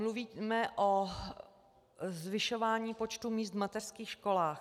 Mluvíme o zvyšování počtu míst v mateřských školách.